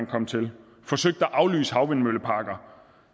kom til forsøgt at aflyse havvindmølleparker